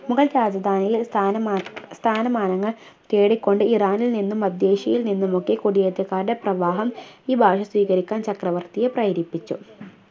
മുഗൾ രാജധാനിയിൽ ഒരു സ്ഥാനമാ സ്ഥാനമാനങ്ങൾ തേടിക്കൊണ്ട് ഇറാനിൽ നിന്നും മധ്യേഷ്യയിൽ നിന്നുമൊക്കെ കുടിയേറ്റക്കാരുടെ പ്രവാഹം ഈ ഭാഷ സ്വീകരിക്കാൻ ചക്രവർത്തിയെ പ്രേരിപ്പിച്ചു